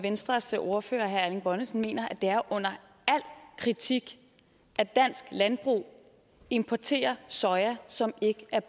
venstres ordfører herre erling bonnesen mener at det er under al kritik at dansk landbrug importerer soja som ikke er